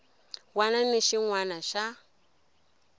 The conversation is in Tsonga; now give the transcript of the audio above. wana ni xin wana xa